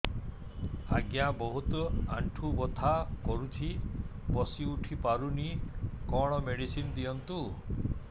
ଆଜ୍ଞା ବହୁତ ଆଣ୍ଠୁ ବଥା କରୁଛି ବସି ଉଠି ପାରୁନି କଣ ମେଡ଼ିସିନ ଦିଅନ୍ତୁ